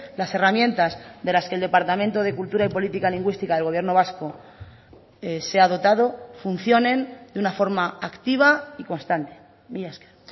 las herramientas de las que el departamento de cultura y política lingüística del gobierno vasco se ha dotado funcionen de una forma activa y constante mila esker